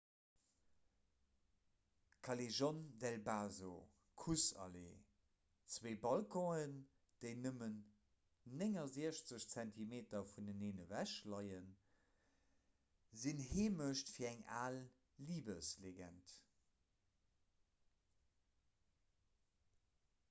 callejon del beso kuss-allee. zwee balconen déi nëmmen 69 zentimeter vuneneen ewech leien sinn heemecht fir eng al libeslegend